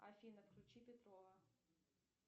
афина включи петрова